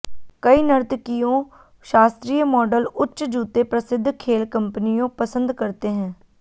कई नर्तकियों शास्त्रीय मॉडल उच्च जूते प्रसिद्ध खेल कंपनियों पसंद करते हैं